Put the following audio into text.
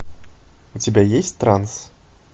у тебя есть транс